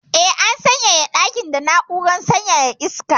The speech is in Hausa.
Eh, an sanyaya dakin da na'urar sanyaya iska.